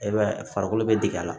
E b'a ye farikolo bɛ digi a la